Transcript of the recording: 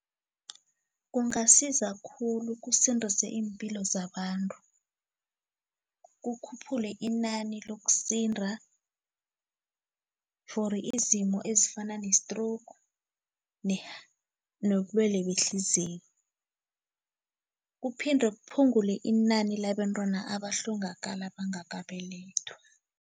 Kungasiza khulu kusindise iimpilo zabantu, kukhuphule inani lokusinda fori izimo ezifana ne-stroke nobulwelwe behliziyo kuphinde kuphungule inani labentwana abahlongakala bangakabelethwa.